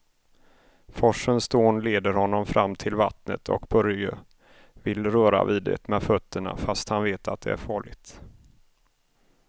Forsens dån leder honom fram till vattnet och Börje vill röra vid det med fötterna, fast han vet att det är farligt.